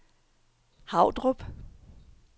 Havdrup